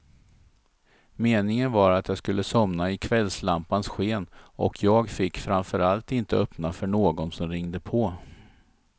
Meningen var att jag skulle somna i kvällslampans sken, och jag fick framför allt inte öppna för någon som ringde på.